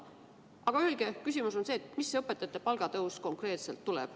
Aga öelge, milline see õpetajate palgatõus konkreetselt tuleb.